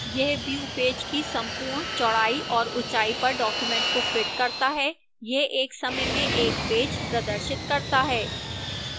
यह view page की संपूर्ण चौड़ाई और ऊंचाई पर document को fits करता है यह एक समय में एक पेज प्रदर्शित करता है